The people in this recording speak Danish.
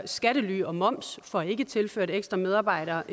skattely og moms får ikke tilført ekstra medarbejdere